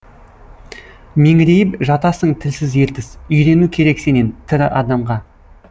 меңірейіп жатасың тілсіз ертіс үйрену керек сенен тірі адамға